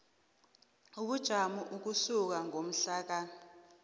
ubujamo ukusuka ngomhlaka